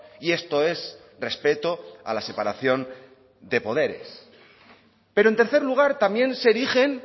y esto es respeto a la separación de poderes pero en tercer lugar también se erigen